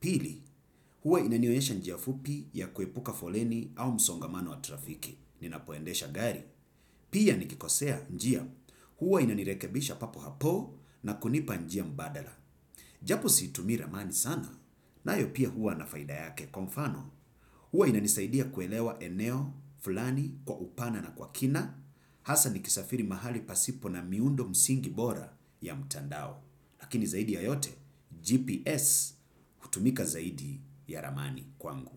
Pili, huwa inanionyesha njia fupi ya kuepuka foleni au msongamano wa trafiki. Ninapoendesha gari. Pia nikikosea njia, huwa inanirekebisha papo hapo na kunipa njia mbadala. Japo situmi ramani sana na yopia huwa nafaida yake kwa mfano. Huwa inanisaidia kuelewa eneo, fulani, kwa upana na kwa kina hasa ni kisafiri mahali pasipo na miundo msingi bora ya mtandao. Lakini zaidi ya yote GPS hutumika zaidi ya ramani kwangu.